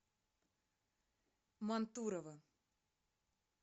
мантурово